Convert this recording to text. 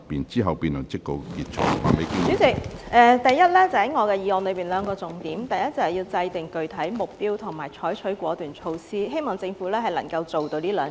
主席，第一，我的議案有兩個重點，就是要制訂具體目標和採取果斷措施，希望政府能夠做到這兩點。